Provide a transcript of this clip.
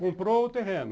Comprou o terreno.